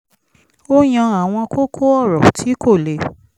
ó yan àwọn kókó ọ̀rọ̀ tí kò lè